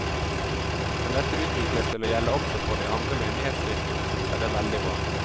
Kan dette utvikles til å gjelde også for de andre menighetskirkene, er det veldig bra.